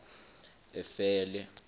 efele